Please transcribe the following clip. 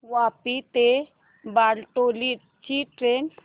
वापी ते बारडोली ची ट्रेन